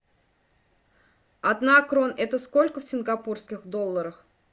одна крон это сколько в сингапурских долларах